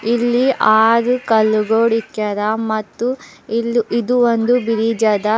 ಇಲ್ಲಿ ಆರು ಕಲ್ಲಗೋಳ ಇಕ್ಕ್ಯಾರ ಮತ್ತು ಇಲ್ಲಿ ಇದು ಒಂದು ಬಿರಿಜ್ ಅದ.